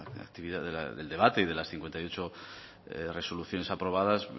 la actividad del debate y de las cincuenta y ocho resoluciones aprobadas